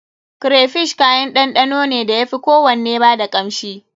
Crayfish kayan ɗanɗano ne da ya fi kowanne ba da kanshi.